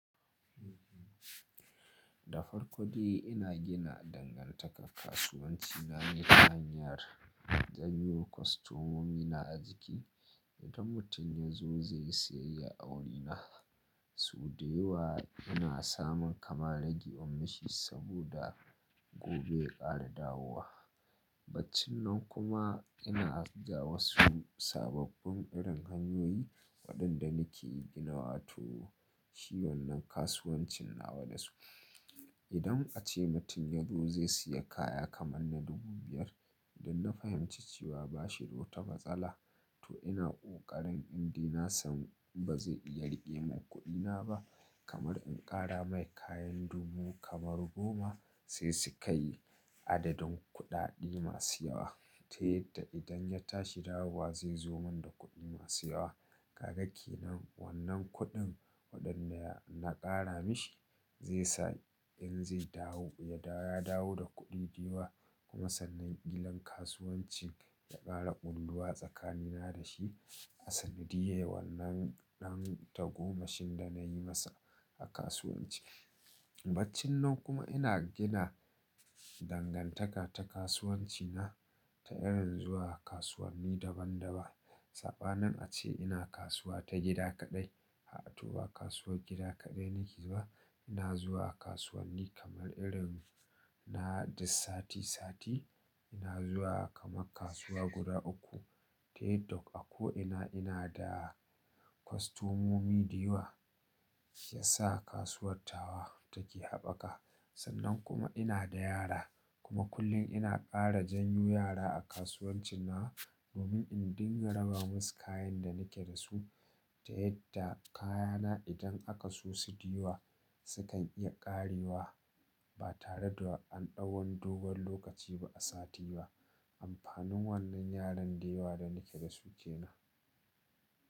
Da farko dai ina gina dangantaka kasuwanci na da hanyar janyo kwastomomi na a jiki. Idan mutum yazo zai yi siyayya a wurina, su da yawa ina samun kama rage ummashi saboda gobe ya ƙara dawowa. Baccin nan kuma ina ajiya wasu sababbin irin hanyoyi waɗanda nake ginawa to shi wannan kasuwancin nawa da su. Idan ace mutum yazo zai siya kaya kamanna dubu biyar, da na fahimci cewa bashi to wata matsala to ina ƙoƙarin indina sam ba zai iya riƙe mun kuɗina ba kamar in ƙara mai kayan dubu kamar goma sai su kai adadin kuɗaɗi masu yawa. Ta yadda idan ya tashi dawowa zai zoman da kuɗi masu yawa. Kaga kenan wannan kuɗin waɗanda na ƙara mishi, zai sa in zai dawo ya dawo da kuɗi da yawa. Kuma sannan ƙilan kasuwanci ya ƙara ƙulluwa tsakanina da shi. A sanadiyar wannan ɗan tagomashin da nayi masa a kasuwanci. Baccin nan kuma ina gina dangantaka ta kasuwanci na ta irin zuwa kasuwanni daban daban. Saɓanin ace ina kasuwa ta gida kaɗai, a to ba kasuwar gida kaɗai nake zuwa. Ina zuwa kasuwanni kamar irin na dis sati sati. Ina zuwa kama kasuwa guda uku. Ta yadda a ko ina ina da kwastomomi da yawa, ya sa kasuwar tawa take haɓaka. Sannan kuma ina da yara kuma kullum ina ƙara janyo yara a kasuwancin na domin in dinga raba masu kayan da nake da su. Ta yadda kayana idan aka su su da yawa sukan iya ƙarewa ba tare da an ɗau wani dogon lokaci ba a sati ba. Amfanin wannan yaran da yawa da nake da su kenan.